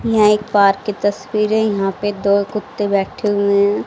यहां एक पार्क की तस्वीर है यहां पे दो कुत्ते बैठे हुए हैं।